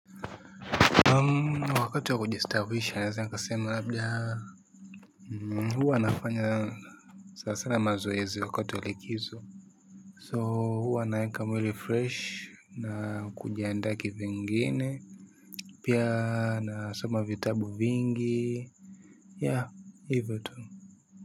Wakati wa kujistawisha naeza nikasema labda huwa nafanya sana sana mazoezi wakati wa likizo so huwa naeka mwili fresh na kujandaa ki vingine pia nasoma vitabu vingi ya hivyo tu.